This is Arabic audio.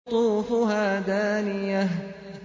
قُطُوفُهَا دَانِيَةٌ